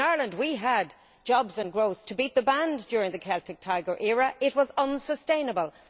In Ireland we had jobs and growth to beat the band during the Celtic Tiger era but it was unsustainable.